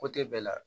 bɛɛ la